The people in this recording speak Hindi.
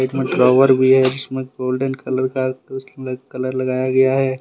ड्रावोर भी है जिसमें गोल्डन कलर का कलर लगाया गया है।